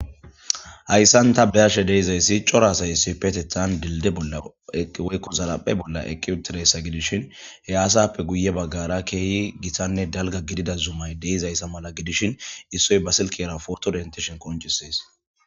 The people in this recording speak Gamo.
hayssan ta beyashe deizayssi cora asayssi petethan dilde bolla woykko zalaphe bolla eqiwutireessa gidishin he aasappe guye baggara keeyhi gitanne dalga gidida zumay deizayssa mala gidishin issoy basilkera poto dentishen koncisees